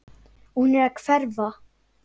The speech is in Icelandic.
Og hún er að hverfa.